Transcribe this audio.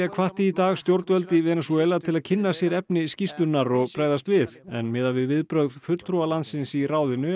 hvatti í dag stjórnvöld í Venesúela til að kynna sér efni skýrslunnar og bregðast við en miðað við viðbrögð fulltrúa landsins í ráðinu er